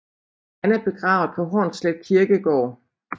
Han er begravet på Hornslet Kirkegård